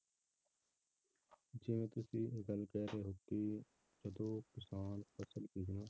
ਜਿਵੇਂ ਤੁਸੀਂ ਇਹ ਗੱਲ ਕਹਿ ਰਹੇ ਹੋ ਕਿ ਜਦੋਂ ਕਿਸਾਨ ਫਸਲ ਬੀਜਣਾ